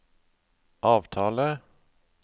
avtale